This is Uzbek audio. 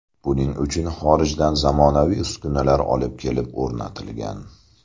Buning uchun xorijdan zamonaviy uskunalar olib kelib o‘rnatilgan.